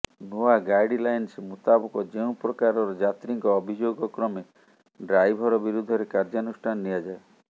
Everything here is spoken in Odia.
ନୂଆ ଗାଇଡଲାଇନ୍ସ ମୁତାବକ ଯେଉଁ ପ୍ରକାରର ଯାତ୍ରୀଙ୍କ ଅଭିଯୋଗ କ୍ରମେ ଡାଇଭର ବିରୁଦ୍ଧରେ କାର୍ଯ୍ୟାନୁଷ୍ଠାନ ନିଆଯାଏ